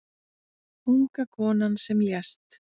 Unga konan sem lést